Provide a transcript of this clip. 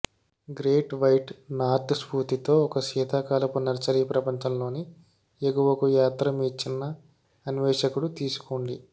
great white north స్ఫూర్తితో ఒక శీతాకాలపు నర్సరీ ప్రపంచంలోని ఎగువకు యాత్ర మీ చిన్న అన్వేషకుడు తీసుకోండి